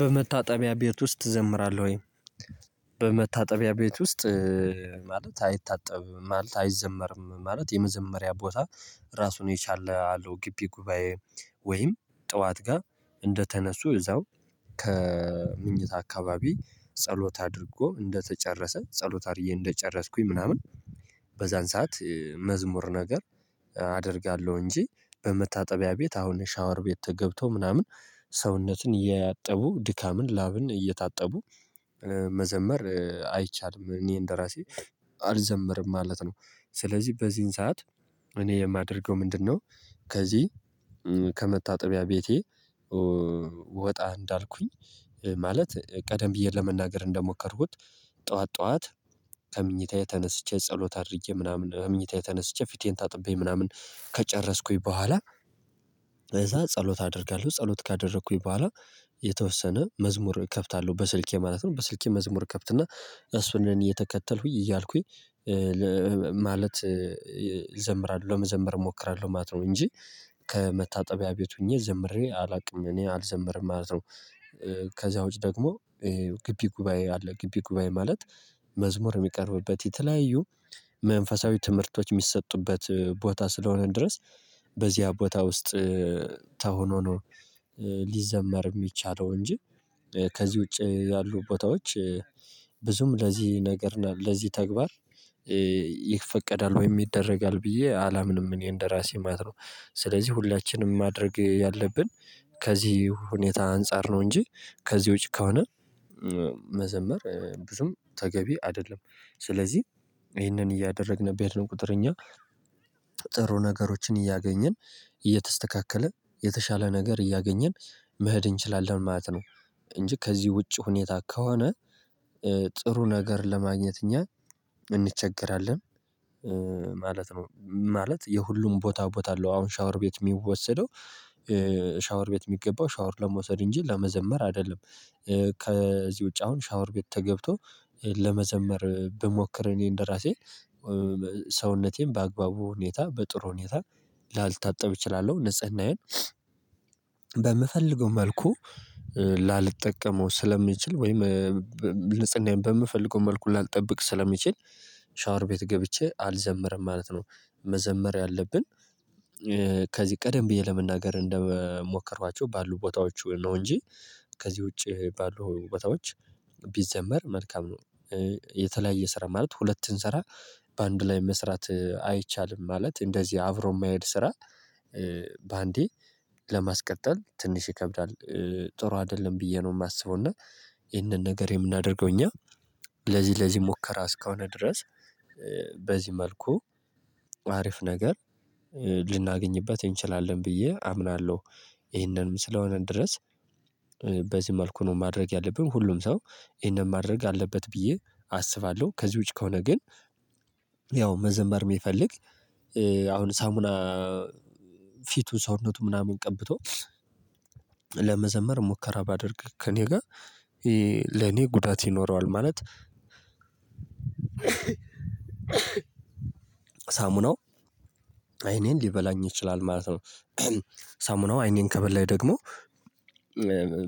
በመታጠቢያ ቤት ውስጥ ትዘምራለህ ወይ? በመታጠቢያ ቤት ውስጥ ማለት አይታጠብም ማለት አይዘመርም ማለት የመዘመሪያ ቦታ ራሱን የቻለ አለው። ግቢ ጉባኤ ወይም ጠዋት ጋር እንደተነሱ እዛው ከምንኝታ አካባቢ ጸሎት አድርጎ እንደተጨረሰ ጸሎት አድርጌ እንደጨረስኩኝ ምናምን በዛን ሰዓት መዝሙር ነገር አደርጋለሁ። እንጂ በመታጠቢያ ቤት አሁን ሻወር ቤት ተገብቶ ምናምን ሰውነትን እያጠቡ ድካምን ላብን እየታጠቡ መዘመር አይቻልም። እኔ እንደራሴ አልዘምርም ማለት ነው። ስለዚህ በዚህን ሰዓት እኔ የማደርገው ምንድነው? ከዚህ ከመታጠቢያ ቤቴ። ወጣ እንዳልኩኝ ማለት ቀደም ብዬ ለመናገር እንደሞከርኩት። ጠዋት ጠዋት ከምኝታዬ ተነስቼ ጸሎት አድርጌ ምናምን ከምኝታዬ ተነስቼ ፊቴን ታጥቤ ምናምን ከጨረስኩኝ በኋላ እዛ ጸሎት አደርጋለሁ ጸሎት ካደረኩኝ በኋላ የተወሰነ መዝሙር ከፍታለሁ በስልኬ ማለት ነው። በስልኬ መዝሙር ከፍት እና እሱን እየተከተልኩኝ እያልኩኝ ማለት ይዘምራል ለመዘምር እሞክራለሁ ማለት ነው። እንጂ ከመታጠቢያ ቤት ሆኜ ዘምሬ አላውቅም እኔ አልዘምርም ማለት ነው። ከዛ ውጪ ደግሞ ግቢ ጉባኤ አለ። ግቢ ጉባኤ ማለት መዝሙር የሚቀርብበት የተለያዩ መንፈሳዊ ትምህርቶች የሚሰጡበት ቦታ ስለሆነ ድረስ በዚያ ቦታ ውስጥ ተሁኖ ነው። ሊዘመር የሚቻለው እንጂ ከዚህ ውጪ ያሉ ቦታዎች ብዙም ለዚህ ነገር ለዚህ ተግባር ይፈቀዳል ወይም ይደረጋል ብዬ አላምንም። እኔ እንደራሴ ማለት ነው ስለዚህ ሁላችንም ማድረግ ያለብን ከዚህ ሁኔታ አንፃር ነው። እንጂ ከዚህ ውጪ ከሆነ መዘመር ብዙም ተገቢ አይደለም። ስለዚህ ይህንን እያደረግን አድርገን በሄድን ቁጥር እኛ ጥሩ ነገሮችን እያገኘን እየተስተካከለ የተሻለ ነገር እያገኘን መሄድ እንችላለን ማለት ነው። እንጂ ከዚህ ውጪ ሁኔታ ከሆነ ጥሩ ነገር ለማግኘት እኛ እንቸገራለን። ማለት ነው ማለት የሁሉም ቦታ ቦታ አለው። አሁን ሻወር ቤት የሚወሰደው ሻወር ቤት የሚገባው ሻወር ለመውሰድ እንጂ ለመዘመር አይደለም። ከዚህ ውጪ አሁን ሻወር ቤት ተገብቶ ለመዘመር ብሞክር እኔ እንደራሴ ሰውነቴን በአግባቡ ሁኔታ በጥሩ ሁኔታ ላልታጠብ እችላለሁ። ንጽህናዬን በምፈልገው መልኩ ላልጠቀመው ስለሚችል ወይም ንጽናዬን በምፈልገው መልኩ ላልጠብቅ ስለምችል ሻወር ቤት ገብቼ አልዘምርም ማለት ነው። መዘመር ያለብን ከዚህ ቀደም ብዬ ለመናገር እንደምሞከርኋቸው ባሉ ቦታዎች ነው እንጂ ከዚህ ውጪ ባሉ ቦታዎች ቢዘመር መልካም ነው። የተለያየ ስራ ማለት ሁለትን ሰራ በአንድ ላይ መስራት አይቻልም ማለት እንደዚህ አብሮ የማይሄድ ስራ። በአንዴ ለማስቀጠል ትንሽ ይከብዳል ጥሩ አይደለም ብዬ ነው የማስበው። እና ይሄንን ነገር የምናደርገው እኛ ለዚህ ለዚህ ሙከራ እስከሆነ ድረስ በዚህ መልኩ አሪፍ ነገር ልናገኝበት እንችላለን ብዬ አምናለሁ። ይሄንንም ስለሆነ ድረስ በዚህ መልኩ ነው ማድረግ ያለብን ሁሉም ሰው ይሄንን ማድረግ አለበት ብዬ አስባለሁ። ከዚህ ውጪ ከሆነ ግን ያው መዘምር የሚፈልግ አሁን ሳሙና ፊቱን ሰውነቱን ምናምን ቀብቶ ለመዘመር ሙከራ ባደርግ ከእኔ ጋር ለኔ ጉዳት ይኖረዋል ማለት ሳሙናው አይኔን ሊበላኝ ይችላል ማለት ነው። ሳሙናው አይኔን ከበላኝ ደግሞ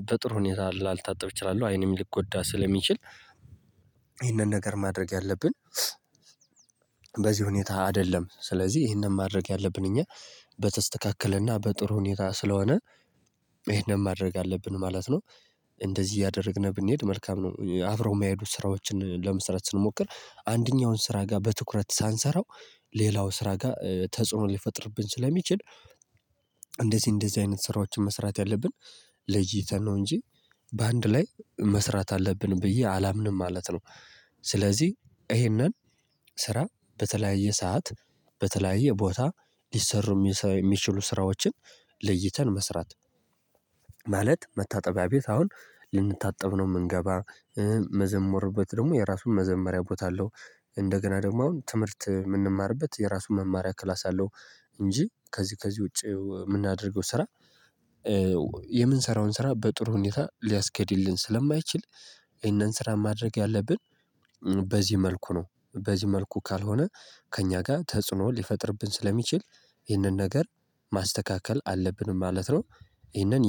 በጥሩ ሁኔታ ላልታጠብ እችላለሁ አይኔም ሊጎዳ ስለሚችል ይህንን ነገር ማድረግ ያለብን በዚህ ሁኔታ አይደለም። ስለዚህ ይሄንን ማድረግ ያለብን እኛ በተስተካከለና በጥሩ ሁኔታ ስለሆነ ይሄንን ማድረግ አለብን ማለት ነው። እንደዚህ እያደረግን ብንሄድ መልካም ነው። አብረው የሚያሄዱት ስራዎችን ለመስራት ስንሞክር አንደኛውን ስራ ጋር በትኩረት ሳንሰራው ሌላው ስራ ጋር ተጽዕኖ ሊፈጥርብን ስለሚችል። እንደዚህ እንደዚህ አይነት ስራዎችን መስራት ያለብን ለይተን ነው እንጂ በአንድ ላይ መስራት አለብን ብዬ አላምንም ማለት ነው። ስለዚህ ይሄንን ስራ በተለያየ ሰዓት በተለያየ ቦታ ሊሰሩ የሚችሉ ስራዎችን ለይተን መስራት። ማለት መታጠቢያ ቤት አሁን ልንታጠብ ነው የምንገባ መመዝሙር ቤት ደግሞ የራሱን መዘመሪያ ቦታ አለው። እንደገና ደግሞ አሁን ትምህርት የምንማርበት የራሱ መማሪያ ክላስ አለው። እንጂ ከዚህ ከዚህ ውጪ የምናደርገው ስራ። የምንሰራውን ስራ በጥሩ ሁኔታ ሊያስኬድልን ስለማይችል። ይሄንን ስራ ማድረግ ያለብን በዚህ መልኩ ነው። በዚህ መልኩ ካልሆነ ከእኛ ጋር ተጽዕኖ ሊፈጥርብን ስለሚችል ይሄንን ነገር ማስተካከል አለብን ማለት ነው። ይሄንን